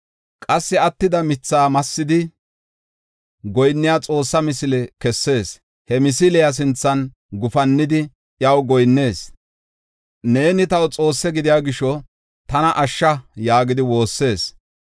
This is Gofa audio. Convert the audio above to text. Qassi attida mithaa massidi, goyinniya xoossa misile kessees. He misiliya sinthan gufannidi, iyaw goyinnees; “Neeni taw xoosse gidiya gisho, tana ashsha” yaagidi woossees.